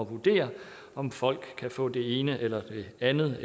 vurdere om folk kan få det ene eller det andet